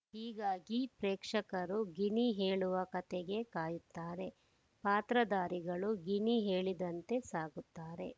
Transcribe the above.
ಹೀಗಾಗಿ ಪ್ರೇಕ್ಷಕರು ಗಿಣಿ ಹೇಳುವ ಕಥೆಗೆ ಕಾಯುತ್ತಾರೆ ಪಾತ್ರಧಾರಿಗಳು ಗಿಣಿ ಹೇಳಿದಂತೆ ಸಾಗುತ್ತಾರೆ